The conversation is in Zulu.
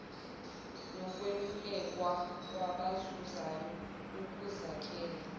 nokwelulekwa kwabazuzayo ukuzakhela